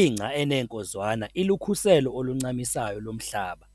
Ingca eneenkozwana ilukhuselo oluncamisayo lomhlaba